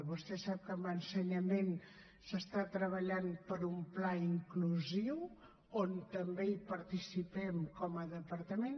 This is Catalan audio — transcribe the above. vostè sap que amb ensenyament es treballa per un pla inclusiu on també participem com a departament